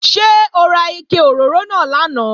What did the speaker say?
Ṣé ó ra ike òróró náà lánàá?